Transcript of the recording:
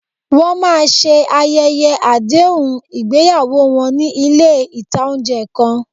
Wọ́n máa ṣe ayẹyẹ àdéhùn ìgbéyàwó wọn ní ilé ìtánjẹ kan